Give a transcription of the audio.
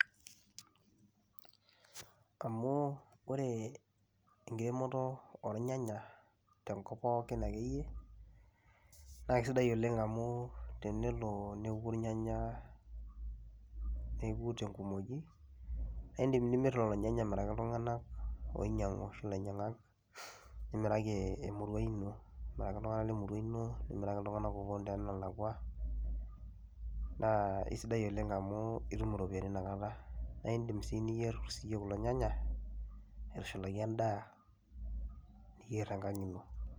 Amu ore enkiremoto ornyanya tenkop pookin nakisidai oleng amu tenelo neoku rnyanya neoku tenkumoi naindim nimir lolonynanya oinyangu nimiraki lainyangak amiraki ltunganak lemurua ino nimiraki ltunganak oponu tonalakwa nasidai oleng amu itum iropiyiani na indim siyie niyer kulo nyanya aitushulaki endaa piyer tenkang ino.